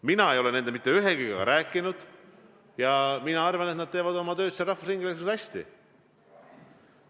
Mina ei ole nendest mitte ühegagi rääkinud, aga ma arvan, et nad teevad oma tööd seal rahvusringhäälingus hästi.